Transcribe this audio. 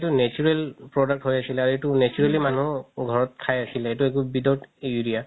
natural product হয় actually আৰু এইটো naturally মানুহ ঘৰত খাই আছিলে এইটো without urea